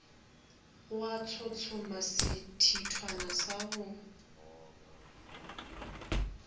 a tshotshoma sethithwana sa go